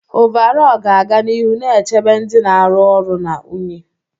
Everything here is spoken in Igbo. Ọvarọọr ga-aga n'ihu na-echebe ndị na-arụ ọrụ na unyi.